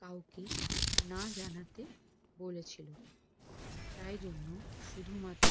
কাওকে না জানাতে বলেছিলো তাই জন্য শুধু মাত্র